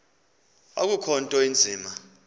akukho nto inzima